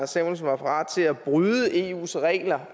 samuelsen var parat til at bryde eus regler